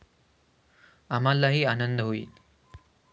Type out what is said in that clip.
आम्हालाही आनंद होईल.